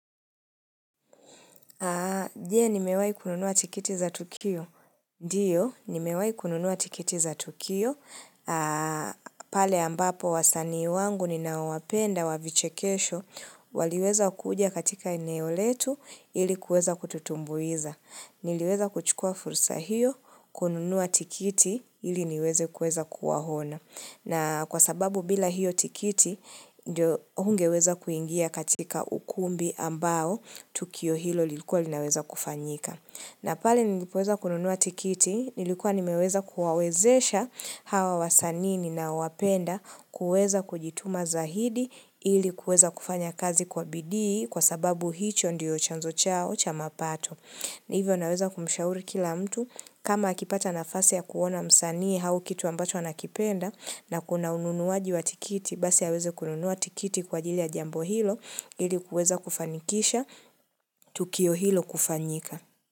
Nje nimewahi kununua tikiti za tukio? Ndio, nimewahi kununua tikiti za tukio. Pale ambapo wasanii wangu ninao wapenda wa vichekesho, waliweza kuja katika eneo letu ilikueza kututumbuiza. Niliweza kuchukua fursa hiyo, kununua tikiti ili niweze kueza kuwahona. Na kwa sababu bila hiyo tikiti, ndio hungeweza kuingia katika ukumbi ambao, tukio hilo lilikuwa linaweza kufanyika. Na pale nilipoweza kununua tikiti, nilikuwa nimeweza kuwawezesha hawa wasanii ninawapenda kueza kujituma za hidi ili kueza kufanya kazi kwa bidii kwa sababu hicho ndiyo chanzo chao cha mapato. Ni hivyo naweza kumshauri kila mtu kama akipata nafasi ya kuona msanii hau kitu ambacho anakipenda na kuna ununuaji wa tikiti basi aweze kununua tikiti kwa jili ya jambo hilo ili kuweza kufanikisha tukio hilo kufanyika.